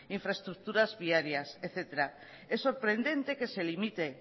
infraestructuras viarias etcétera es sorprendente que se limite